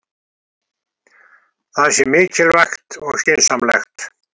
Það sé mikilvægt og skynsamlegt